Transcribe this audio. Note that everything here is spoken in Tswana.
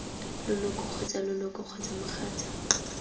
leloko kgotsa leloko kgotsa mogatsa